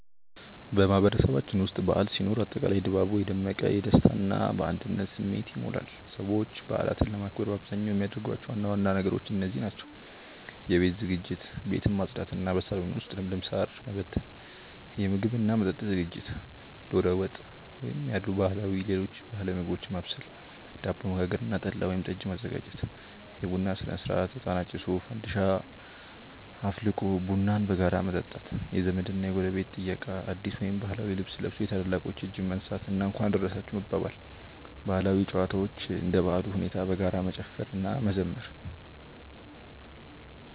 በማህበረሰባችን ውስጥ በዓል ሲኖር አጠቃላይ ድባቡ የደመቀ፣ በደስታ እና በአንድነት ስሜት ይሞላል። ሰዎች በዓላትን ለማክበር በአብዛኛው የሚያደርጓቸው ዋና ዋና ነገሮች እንደዚህ ናቸው፦ የቤት ዝግጅት፦ ቤትን ማጽዳት እና በሳሎን ውስጥ ለምለም ሳር ማቀነባበርና ጠንቀቀ መበተን። የምግብ እና መጠጥ ዝግጅት፦ ዶሮ ወጥ ያሉ ባህላዊ ምግቦችን ማብሰል፣ ዳቦ መጋገር እና ጠላ ወይም ጠጅ ማዘጋጀት። የቡና ሥነ-ሥርዓት፦ እጣን አጭሶ፣ ፋንዲሻ አፍልቆ ቡናን በጋራ መጠጣት። የዘመድ እና ጎረቤት ጥየቃ፦ አዲስ ወይም ባህላዊ ልብስ ለብሶ የታላላቆችን እጅ መንሳት እና "እንኳን አደረሳችሁ" መባባል። ባህላዊ ጨዋታዎች፦ እንደ በዓሉ ሁኔታ በጋራ መጨፈር እና መዘመር።